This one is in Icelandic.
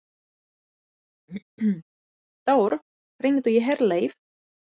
Þór, hringdu í Herleif.